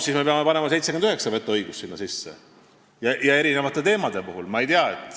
Siis me peame panema sinna sisse 79 vetoõigust ja erinevate teemade jaoks.